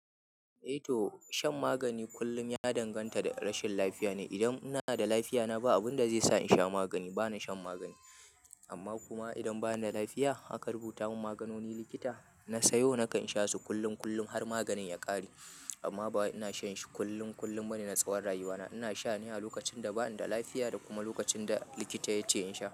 Eh toh, shan magani kullum ya danganta da rashin lafiya ne. Idan ina da lafiya, ba abin da zai sa in sha magani, ba na shan magani. Amma kuma idan ba ni da lafiya, aka rubuta mun maganonin likita, na sayo nakan sha su kullum, kullum har maganin ya ƙare. Amma ba wai ina shan shi kullum, kullum bane na tsawon rayuwa na. Ina sha ne a lokacin da ba ni da lafiya da kuma lokacin da likita ya ce in sha.